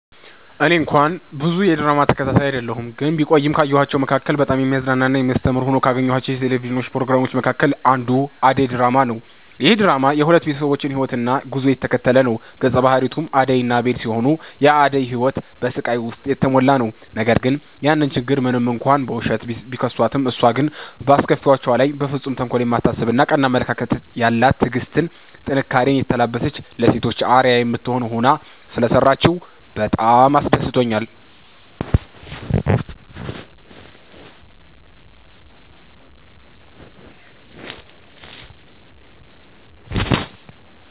እኔ እንኳን ብዙ የድራማ ተከታታይ አይደለሁ ግን ቢቆይም ካየኋቸዉ መካከል በጣም የሚያዝናና እና የሚያስተምር ሆነው ካገኘኋቸው የቴሌቪዥን ፕሮግራሞች መካከል አንዱ አደይ ድራማ ነዉ። ይህ ድራማ የሁለት ቤተሰቦችን ህይወትና ጉዞ የተከተለ ነዉ ገፀ ባህሪያቱም አደይ እና አቤል ሲሆኑ የአደይ ህይወት በስቃይ ዉስጥ የተሞላ ነዉ ነገር ግን ያን ችግር ሞንም እንኳን በዉሸት፣ ቢከሷትም እሷ ግን በአስከፊዎቿ ላይ በፍፁም ተንኮል የማታስብ ቀና አመለካከት ያላት ትዕግስትን፣ ጥንካሬኔ የተላበሰች ለሴቶች አርአያ የምትሆን ሆና ሰለሰራችዉ በጣም አስደስቶኛል።